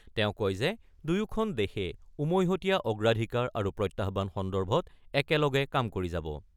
তেওঁ কয় যে, দুয়োখন দেশে উমৈহতীয়া অগ্ৰাধিকাৰ আৰু প্ৰত্যাহ্বান সন্দৰ্ভত একেলগে কাম কৰি যাব।